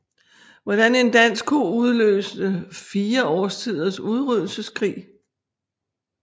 Hvordan en dansk ko udløste fire årtiers udryddelseskrig